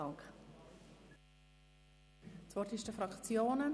Das Wort ist bei den Fraktionen.